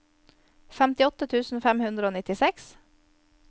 femtiåtte tusen fem hundre og nittiseks